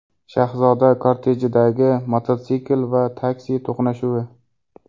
Shahzoda kortejidagi mototsikl va taksi to‘qnashuvi.